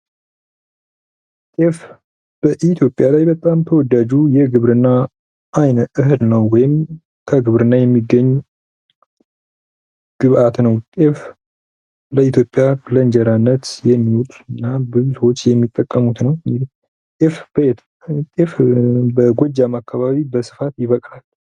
ጤፍ በኢትዮጵያ በጣም ተወዳጁ የግብርና እህል ነው። ወይም ከግብርና የሚገኝ ግባት ነው። ጤፍ በኢትዮጵያ ከእንጀራነት የሚውል ነው።